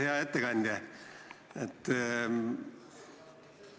Hea ettekandja!